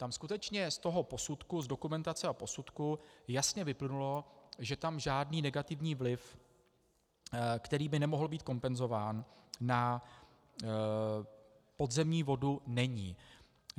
Tam skutečně z toho posudku, z dokumentace a posudku jasně vyplynulo, že tam žádný negativní vliv, který by nemohl být kompenzován, na podzemní vodu není.